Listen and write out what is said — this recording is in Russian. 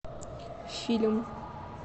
фильм